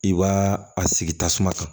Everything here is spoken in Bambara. I b'a a sigi tasuma kan